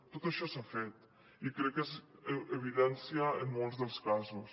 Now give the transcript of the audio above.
tot això s’ha fet i crec que és evidència en molts dels casos